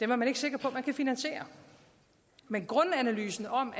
man ikke sikker på at man kan finansiere men grundanalysen om